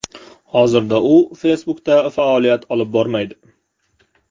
Hozirda u Facebook’da faoliyat olib bormaydi.